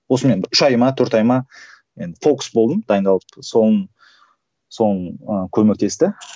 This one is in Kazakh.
осымен үш ай ма төрт ай ма енді фокус болдым дайындалып ыыы көмектесті